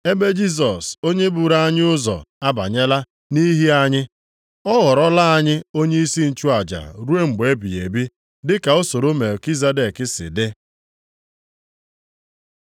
ebe Jisọs onye buru anyị ụzọ, abanyela nʼihi anyị; ọ ghọlara anyị onyeisi nchụaja ruo mgbe ebighị ebi dị ka usoro Melkizedek si dị.